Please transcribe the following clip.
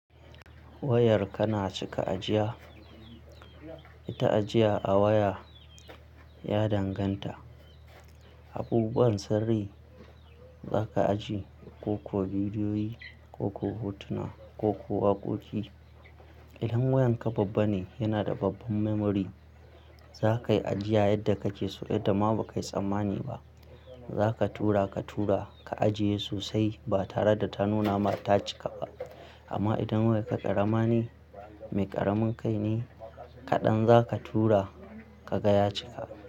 Wayarka na cika ajiya, ita ajiya a waya ya danganta abubuwan sirri za ka ajiye, ko-ko bidiyoyi, ko-ko hotuna ko-ko waƙoƙi. Idan wayarka babba ne, yana da babban memory za kai ajiya yadda kake so, yadda ma ba kai tsammani ba. Za ka tura ka tura, ka ajiye sosai ba tare da ta nuna ma ta cika ba. Amma idan wayarka ƙarama ne, mai ƙaramin kai ne, kaɗan za ka tura ka ga ya cika.